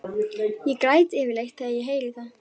Ég græt yfirleitt þegar ég heyri það.